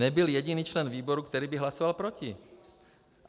Nebyl jediný člen výboru, který by hlasoval proti.